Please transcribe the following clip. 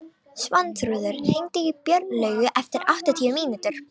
Svanþrúður, hringdu í Björnlaugu eftir áttatíu mínútur.